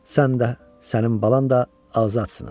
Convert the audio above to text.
Sən də, sənin balan da azadsınız.